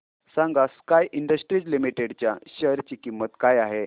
सांगा Sky Industries Limited च्या share ची किंमत काय आहे